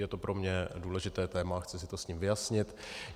Je to pro mě důležité téma, chci si to s ním vyjasnit.